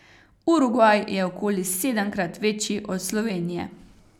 Urugvaj je okoli sedemkrat večji od Slovenije.